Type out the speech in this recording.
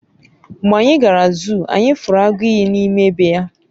mgbe anyi gara zuu, anyi furu agu iyi n'ime be ya